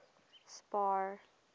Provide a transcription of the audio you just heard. spar